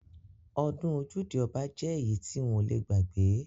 Ọdún ojude oba jẹ́ èyí tí n ò le gbàgbé.